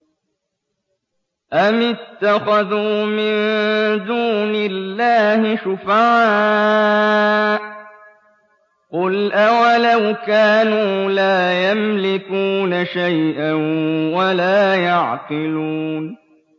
أَمِ اتَّخَذُوا مِن دُونِ اللَّهِ شُفَعَاءَ ۚ قُلْ أَوَلَوْ كَانُوا لَا يَمْلِكُونَ شَيْئًا وَلَا يَعْقِلُونَ